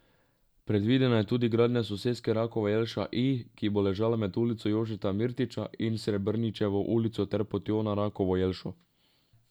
Predvidena je tudi gradnja soseske Rakova jelša I, ki bo ležala med Ulico Jožeta Mirtiča in Srebrničevo ulico ter Potjo na Rakovo jelšo.